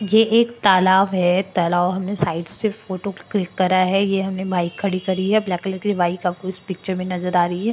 ये एक तालाव है तालाव के हमने साइड से फोटो क्लिक करा है ये हमने बाइक खड़ीं करी है ब्लैक कलर की बाइक आपको इस पिक्चर में नजर आ रही है।